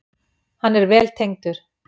Hann er vel tengdur.